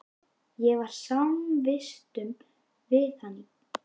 Ég var samvistum við hann í